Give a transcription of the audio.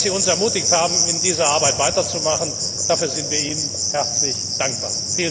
Dass Sie uns ermutigt haben, mit dieser Arbeit weiterzumachen, dafür sind wir Ihnen herzlich dankbar.